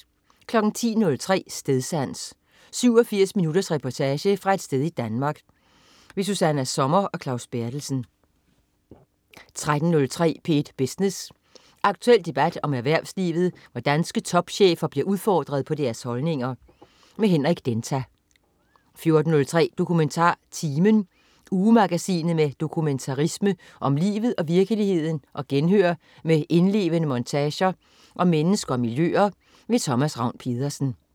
10.03 Stedsans. 87 minutters reportage fra et sted i Danmark. Susanna Sommer og Claus Berthelsen 13.03 P1 Business. Aktuel debat om erhvervslivet, hvor danske topchefer bliver udfordret på deres holdninger. Henrik Denta 14.03 DokumentarTimen. Ugemagasinet med dokumentarisme om livet og virkeligheden og genhør med indlevende montager om mennesker og miljøer. Thomas Ravn-Pedersen